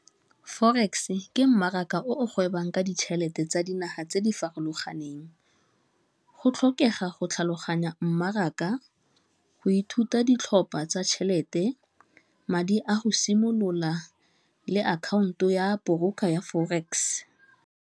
Forex ke mmaraka o gwebang ka ditšhelete tsa dinaga tse di farologaneng, go tlhokega go tlhaloganya mmaraka, go ithuta ditlhopha tsa tšhelete madi a go simolola le akhaonto ya ya Forex.